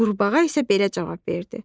Qurbağa isə belə cavab verdi: